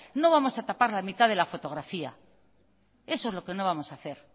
no vamos a tapar la mitad de la fotografía eso es lo que no vamos a hacer